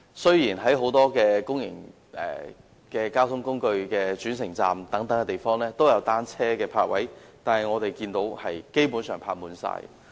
雖然在很多公共交通工具的轉乘站也設有單車泊位，但我們看到也是經常泊滿的。